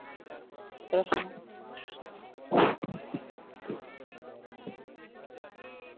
Krishna